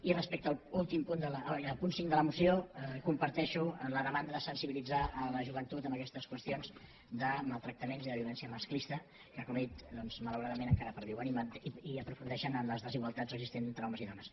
i respecte al punt cinc de la moció comparteixo la demanda de sensibilitzar la joventut en aquestes qüestions de maltractaments i de violència masclista que com he dit doncs malauradament encara perviuen i aprofundeixen en les desigualtats existents entre homes i dones